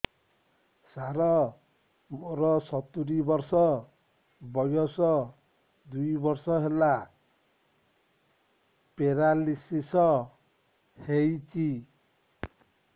ସାର ମୋର ସତୂରୀ ବର୍ଷ ବୟସ ଦୁଇ ବର୍ଷ ହେଲା ପେରାଲିଶିଶ ହେଇଚି